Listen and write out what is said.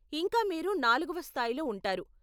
ఇంకా మీరు నాలుగవ స్థాయిలో ఉంటారు.